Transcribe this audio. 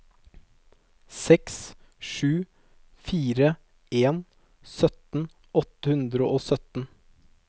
seks sju fire en sytten åtte hundre og sytten